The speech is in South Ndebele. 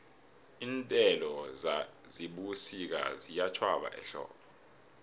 iinthelo zebusika ziyatjhwaba ehlobo